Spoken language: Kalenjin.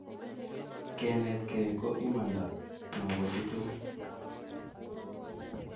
kenetkei ko imanda nopo chitukul